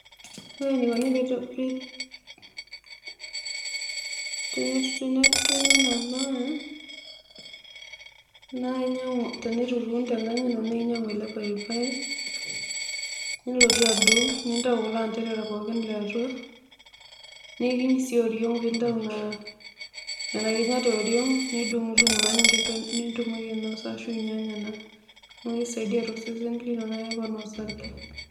Ore enikoni pee pii tenetumi enabae naa inyangu, tenitutum tenkaji ino na inyangu ele paipai nilotu adung, nintau kulo anderera pookin liatua, nikiny si oriong peintau nona kinyat eoriong nidungdung naa peitum ainosa ashu ninyanya naa keisaidia tosesen lino .